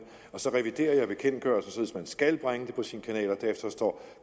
og så reviderer jeg bekendtgørelsen sådan skal bringe det på sin kanal og at